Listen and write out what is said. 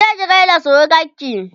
kije ki gaida surukanki!